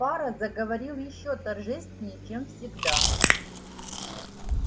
фара заговорил ещё торжественнее чем всегда